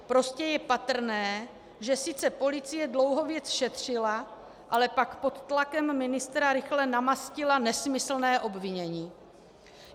Prostě je patrné, že sice policie dlouho věc šetřila, ale pak pod tlakem ministra rychle namastila nesmyslné obvinění.